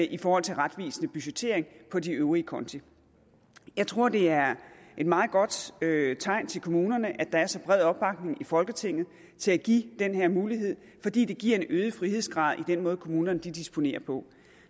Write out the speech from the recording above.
i forhold til retvisende budgettering på de øvrige konti jeg tror det er et meget godt tegn til kommunerne at der er så bred opbakning i folketinget til at give den her mulighed fordi det giver en øget frihedsgrad i den måde kommunerne disponerer på